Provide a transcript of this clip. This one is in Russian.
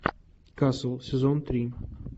касл сезон три